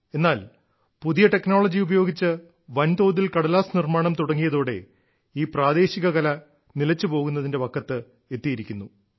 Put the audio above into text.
എന്നാൽ പുതിയ ടെക്നോളജി ഉപയോഗിച്ച് വൻതോതിൽ കടലാസ് നിർമ്മാണം തുടങ്ങിയതോടെ ഈ പ്രാദേശിക കല നിലച്ചു പോകുന്നതിന്റെ വക്കത്ത് എത്തിയിരിക്കുന്നു